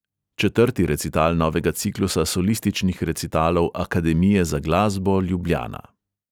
Četrti recital novega ciklusa solističnih recitalov akademije za glasbo ljubljana.